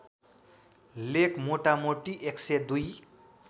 लेख मोटामोटी १०२